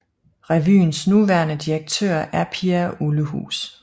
Revyens nuværende direktør er Pia Ullehus